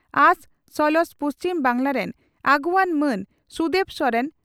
ᱟᱥ ᱥᱟᱞᱟᱜ ᱯᱩᱪᱷᱢ ᱵᱟᱝᱜᱽᱞᱟ ᱨᱮᱱ ᱟᱹᱜᱩᱣᱟᱹᱱ ᱢᱟᱱ ᱥᱩᱫᱮᱵᱽ ᱥᱚᱨᱮᱱ